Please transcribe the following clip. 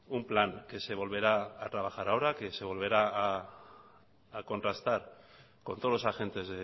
un plan que se volverá a trabajar ahora que se volverá a contrastar con todos los agentes